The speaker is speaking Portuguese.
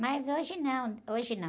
Mas hoje não, hoje não.